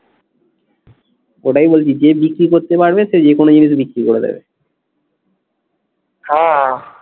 ওটাই বলছি যে বিক্রি করতে পারবে সে যে কোনো জায়গাতে বিক্রি করে দেবে। হ্যাঁ